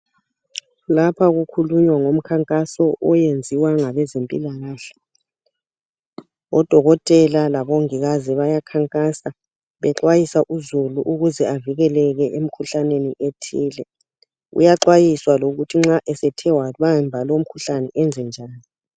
Lapha kukhulunywa ngomkhankaso oyenziwa ngabezempilakahle. Odokotela labomongikazi bayakhankasa bexwayisa uzulu ukuze avikeleke emkhuhlaneni ethile, uyaxwayiswa lokuthi nxa esethe wabamba lomkhuhlane enzenjani.